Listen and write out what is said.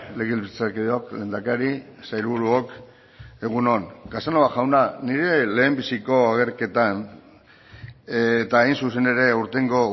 legebiltzarkideok lehendakari sailburuok egun on casanova jauna nire lehenbiziko agerketan eta hain zuzen ere aurtengo